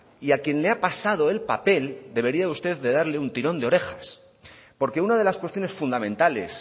y a quien le ha pasado el papel debería usted de darle un tirón de orejas porque una de las cuestiones fundamentales